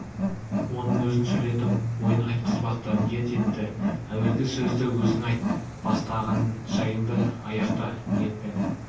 оның өзін сөйлетіп ойын айтқызбақты ниет етті әуелгі сөзді өзің айт бастаған жайыңды аяқта ниетпен